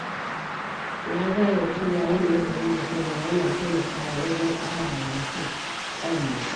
Na gane cewa yin nazari da kaina yana taimakawa wajen ƙara wa mutum ƙwarewa.